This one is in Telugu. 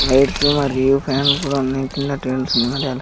లైట్స్ మరియు ఫ్యాన్లు కూడా ఉన్నాయి కింద --